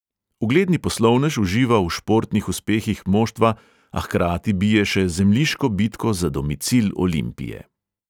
Ugledni poslovnež uživa v športnih uspehih moštva, a hkrati bije še zemljiško bitko za domicil olimpije.